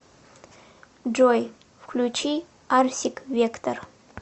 джой включи арсик вектор